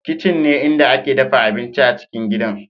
Kitchen ne inda ake dafa abinci a cikin gidan